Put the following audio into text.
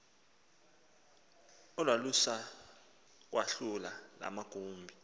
olwalusakwahlula la magumbi